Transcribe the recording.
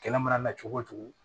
Kɛlɛ mana na cogo o cogo